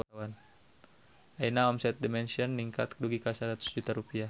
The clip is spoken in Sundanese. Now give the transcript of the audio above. Ayeuna omset The Mansion ningkat dugi ka 100 juta rupiah